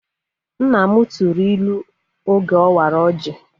Nna m tụrụ ilu oge ọ wara ọjị